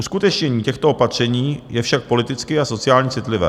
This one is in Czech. Uskutečnění těchto opatření je však politicky a sociálně citlivé.